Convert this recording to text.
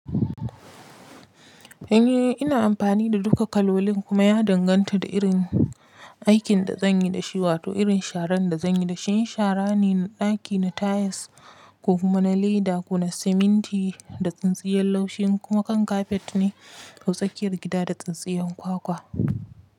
Eh, ina amfani da duka kalolin kuma ya danganta da irin aikin da zan yi da shi wato irin sharan da zan yi da shi. In shara ne na ɗaki, na tiles ko kuma na leda ko na siminti da tsintsiyar laushi, kuma kan kafet ne ko tsakiyar gida da tsintsiyar kwakwa.